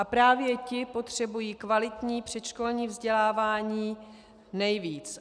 A právě ti potřebují kvalitní předškolní vzdělávání nejvíc.